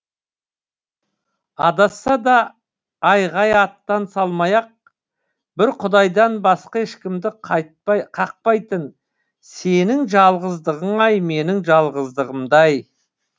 адасса да айғай аттан салмай ақ бір құдайдан басқа ешкімді қақпайтын сенің жалғыздығың ай менің жалғыздығымдай